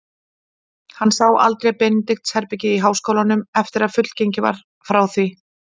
Hann sá aldrei Benedikts-herbergið í háskólanum, eftir að fullgengið var frá því.